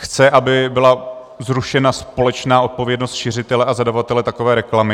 Chce, aby byla zrušena společná odpovědnost šiřitele a zadavatele takové reklamy.